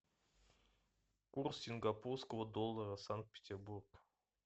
курс сингапурского доллара санкт петербург